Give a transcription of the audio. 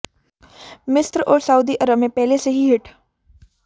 मिस्र और सऊदी अरब मे पहले से ही हिट